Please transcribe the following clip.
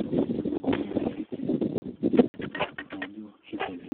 nengadie imoyiaritin naijo HIV.